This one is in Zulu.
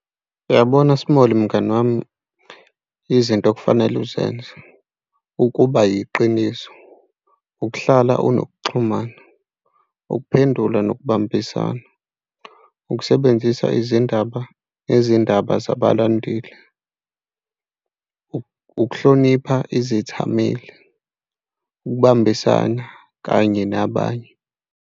Uyabona Small, mngani wami, izinto okufanele uzenze ukuba yiqiniso, ukuhlala unokuxhumana, ukuphendula nokubambisana, ukusebenzisa izindaba izindaba zabalandeli, ukuhlonipha izithameli, ukubambisana kanye nabanye.